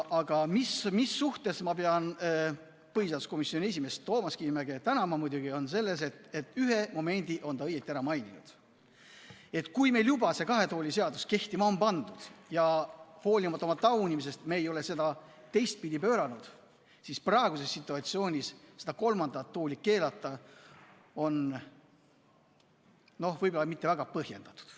Aga mille eest ma pean põhiseaduskomisjoni esimeest Toomas Kivimäge tänama, on muidugi see, et ühe momendi on ta õigesti ära maininud: kui meil juba see kahe tooli seadus kehtima on pandud ja hoolimata taunimisest ei ole me seda teistpidi pööranud, siis praeguses situatsioonis kolmandat tooli keelata on võib-olla mitte väga põhjendatud.